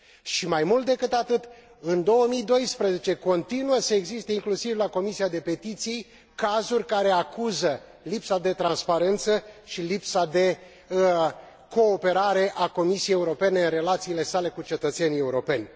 Și mai mult decât atât, în 2012 continuă să existe, inclusiv la Comisia de petiții, cazuri care acuză lipsa de transparență și lipsa de cooperare a Comisiei Europene în relațiile sale cu cetățenii europeni.